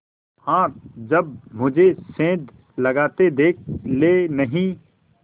हाँ जब मुझे सेंध लगाते देख लेनहीं